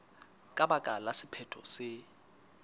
ka baka la sephetho se